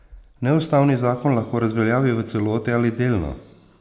Neustavni zakon lahko razveljavi v celoti ali delno.